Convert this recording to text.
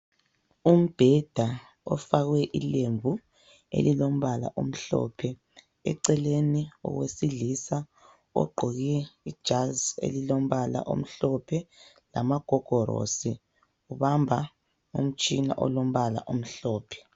Umbheda ofakwe ilembu elilombala omhlophe. Eceleni owesilisa ogqoke ijazi elilombala omhlophe lama gogorosi, ubamba umtshina olombala omhlophe.